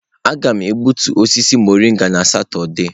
Aga m egbutu osisi mọrịnga na Satọde.